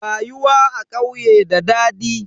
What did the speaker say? Rayuwa a ƙauye da dadi.